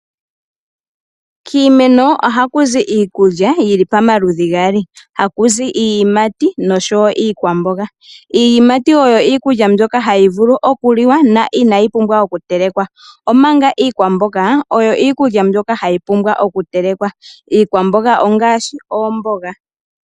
Kiimeno oha kuzi iikulya yili pomaludhi gaali gakuzi iiyimati noshowo iikwamboga. Iiyimati oyo iikulya ndyoka hayi vulu okuliwa yo inayi pumbwa okutelekwa omanga iikwamboga oyo iikulya ndyoka hayi pumbwa okutelekwa . Iikwamboga ongaashi oomboga.